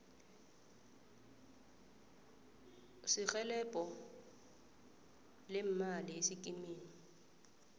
serhelebho leemali esikimini